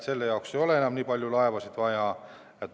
Enam ei ole nii palju laevasid vaja.